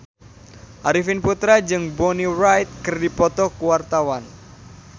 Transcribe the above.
Arifin Putra jeung Bonnie Wright keur dipoto ku wartawan